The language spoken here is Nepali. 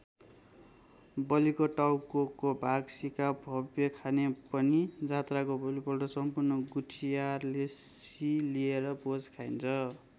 बलिको टाउकोको भाग सीकाःभ्वय् खाने भनी जात्राको भोलिपल्ट सम्पूर्ण गुठियारले सी लिएर भोज खाइन्छ।